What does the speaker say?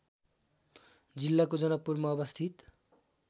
जिल्लाको जनकपुरमा अवस्थित